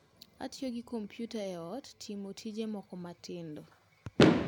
Atiyo gi kompyuta e ot timo tije moko matindo